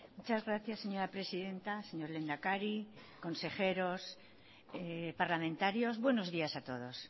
muchas gracias señora presidenta señor lehendakari consejeros parlamentarios buenos días a todos